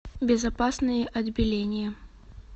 безопасное отбеление